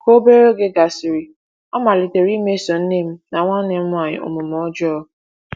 Ka obere oge gasịrị, ọ malitere imeso nne m na nwanne m nwanyị omume ọjọọ.